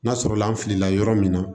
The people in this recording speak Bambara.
N'a sɔrɔla an filila yɔrɔ min na